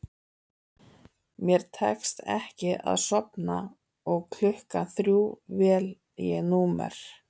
Mér tekst ekki að sofna og klukkan þrjú vel ég númer